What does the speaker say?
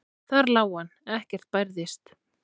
Þar lá hann, ekkert bærðist.